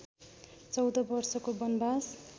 चौध वर्षको वनवास